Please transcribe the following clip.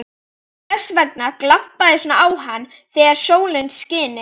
Þess vegna glampaði svona á hana þegar sólin skini.